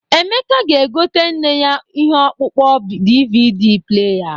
Emeka ga-egoter nne ya ihe ọkpụkpọ DVD pleya